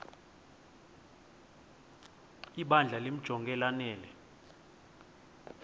ibandla limjonge lanele